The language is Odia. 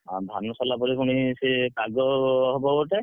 ଧାନ ସରିଲା ପରେ ପୁଣି ସେ ପାଗ ହବ ଗୋଟେ,